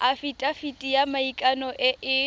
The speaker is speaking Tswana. afitafiti ya maikano e e